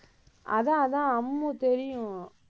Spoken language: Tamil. அதான், அதான் அம்மு தெரியும்.